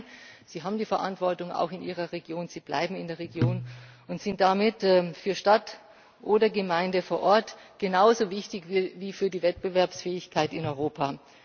Nein, sie haben die Verantwortung auch in ihrer Region, sie bleiben in der Region und sind damit für Stadt oder Gemeinde vor Ort genauso wichtig wie für die Wettbewerbsfähigkeit in Europa.